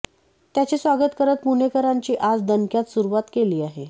त्याचे स्वागत करत पुणेकरांची आज दणक्यात सुरुवात केली आहे